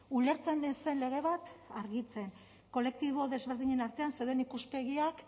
ulertzen ez zen lege bat argitzen kolektibo desberdinen artean zeuden